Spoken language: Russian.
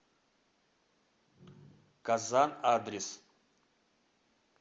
казан адрес